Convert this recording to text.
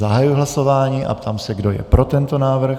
Zahajuji hlasování a ptám se, kdo je pro tento návrh.